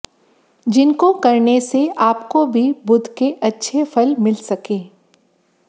जिनको करने से आपको भी बुध के अच्छे फल मिल सकें